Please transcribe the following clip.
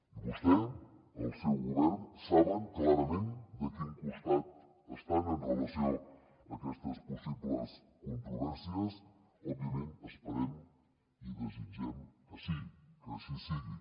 i vostè el seu govern saben clarament de quin costat estan amb relació a aquestes possibles controvèrsies òbviament esperem i desitgem que sí que així sigui